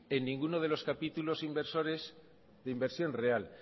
en ninguna de los capítulos inversores de inversión real